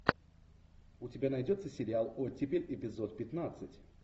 у тебя найдется сериал оттепель эпизод пятнадцать